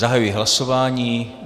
Zahajuji hlasování.